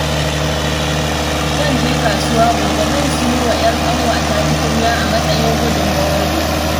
Zan je kasuwa gobe, zan sayo wa 'yar ƙanwata tukwane a matsayin gudunmawar biki